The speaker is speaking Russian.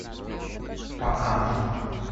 пацанки